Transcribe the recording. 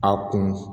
A kun